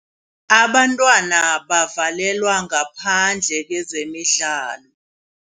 Abantwana bavalelwa ngaphandle kezemidlalo.